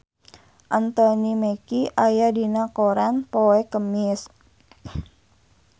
Anthony Mackie aya dina koran poe Kemis